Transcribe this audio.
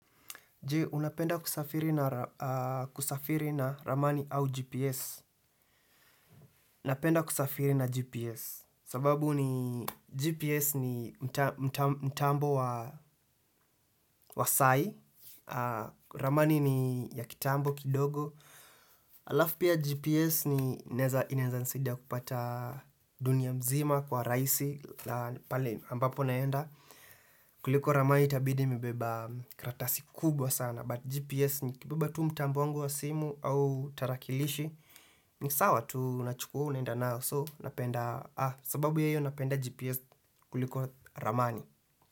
Je, unapenda kusafiri na ramani au GPS napenda kusafiri na GPS sababu ni GPS ni mtambo wa sahii ramani ni ya kitambo kidogo Alafu pia GPS inaeza nisidia kupata dunia mzima kwa raisi pale ambapo naenda kuliko ramani itabidi nimebeba karatasi kubwa sana but GPS nikibeba tu mtambo wangu wa simu au tarakilishi, ni sawa tu unachukua unaenda nao, so sababu ya hio napenda GPS kuliko ramani.